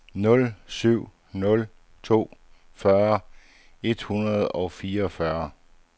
nul syv nul to fyrre et hundrede og fireogfyrre